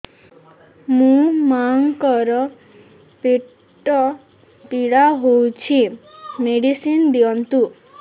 ମୋ ମାଆଙ୍କର ପେଟ ପୀଡା ହଉଛି ମେଡିସିନ ଦିଅନ୍ତୁ